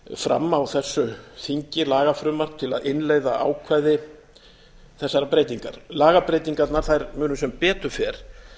fram á þessu þingi lagafrumvarp til að innleiða ákvæði þessarar breytingar lagabreytingarnar munu sem betur fer